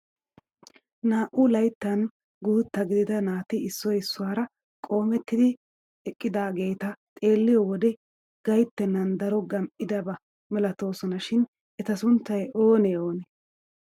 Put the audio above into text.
Naa"u layttan guutta gidida naati issioy issuwaara qoomettidi eqqidaageta xeelliyoo wode gayttenan daro gam"idaba milatoosona shin eta sunttay oonee oonee?